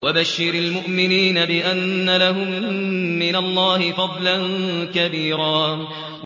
وَبَشِّرِ الْمُؤْمِنِينَ بِأَنَّ لَهُم مِّنَ اللَّهِ فَضْلًا كَبِيرًا